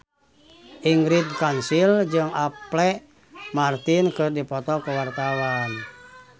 Ingrid Kansil jeung Apple Martin keur dipoto ku wartawan